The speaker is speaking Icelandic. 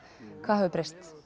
hvað hefur breyst